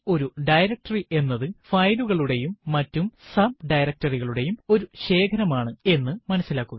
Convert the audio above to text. ഒരു ഡയറക്ടറി എന്നത് ഫയലുകളുടെയും മറ്റു ഡയറക്ടറി കളുടെയും ഒരു ശേഖരം ആണ് എന്ന് മനസിലാക്കുക